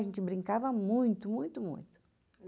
A gente brincava muito, muito, muito.